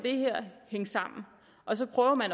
hænge sammen og så prøver at